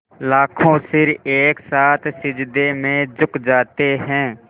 लाखों सिर एक साथ सिजदे में झुक जाते हैं